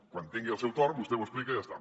quan tingui el seu torn vostè ho explica i ja està